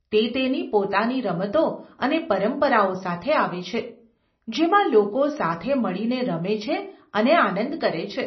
તે તેની પોતાની રમતો અને પરંપરાઓ સાથે આવે છે જેમાં લોકો સાથે મળીને રમે છે અને આનંદ કરે છે.